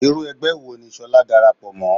Irú ẹgbẹ́ wo ni ṣolá dàràpọ̀ mọ́?